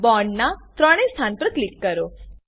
bond ના ત્રણે સ્થાન પર ક્લિક કરો